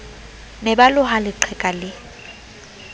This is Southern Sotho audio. ne ba loha leqheka lee